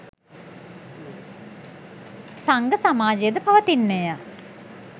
සංඝ සමාජය ද පවතින්නේ ය.